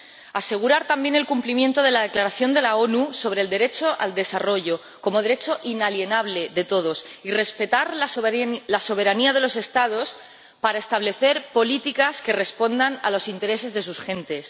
También que se asegure el cumplimiento de la declaración de las Naciones Unidas sobre el derecho al desarrollo como derecho inalienable de todos y que se respete la soberanía de los Estados para establecer políticas que respondan a los intereses de sus gentes.